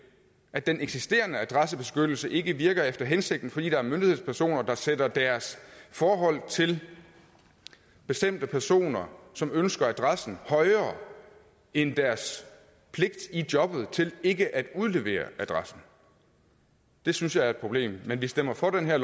at den eksisterende adressebeskyttelse ikke virker efter hensigten fordi der er myndighedspersoner der sætter deres forhold til bestemte personer som ønsker adressen højere end deres pligt i jobbet til ikke at udlevere adressen det synes jeg er et problem men vi stemmer for det her